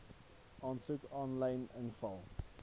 aansoeke aanlyn invul